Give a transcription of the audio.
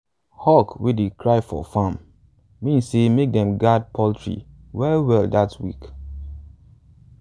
hawk wey dey cry for farm mean say make them guard poultry well well that week.